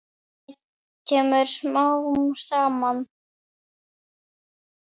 Það kemur smám saman.